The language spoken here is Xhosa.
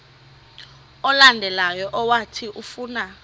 olandelayo owathi ufuna